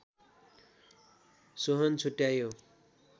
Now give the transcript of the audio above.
सोहोन छुट्यायो